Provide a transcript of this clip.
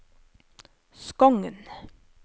Skogn